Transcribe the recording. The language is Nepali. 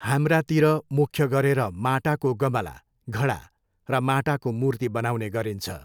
हाम्रातिर मुख्य गरेर माटाको गमला, घडा र माटाको मूर्ति बनाउने गरिन्छ।